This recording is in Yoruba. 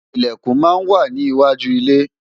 Ìlẹ̀kùn máa ń wà ní iwájú ilé